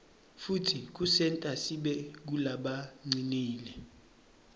futsi kusenta sibe ngulabacinile